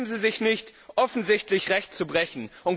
Schämen Sie sich nicht, offensichtlich Recht zu brechen?